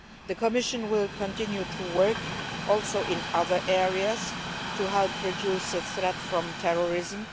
The Commission will continue to work in other areas, too, to help reduce the threat from terrorism.